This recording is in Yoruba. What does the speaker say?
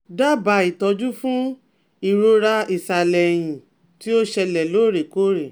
Daba itoju fun irora isale eyin ti o sele lorekore